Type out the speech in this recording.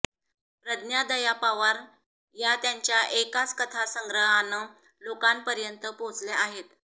प्रज्ञा दया पवार या त्यांच्या एकाच कथासंग्रहानं लोकांपर्यंत पोचल्या आहेत